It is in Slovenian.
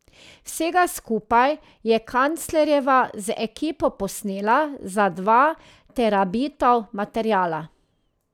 Vsega skupaj je Kanclerjeva z ekipo posnela za dva terabitov materiala.